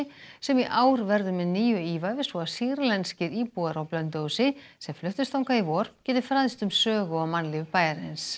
sem í ár verður með nýju ívafi svo að sýrlenskir íbúar á Blönduósi sem fluttust þangað í vor geti fræðst um sögu og mannlíf bæjarins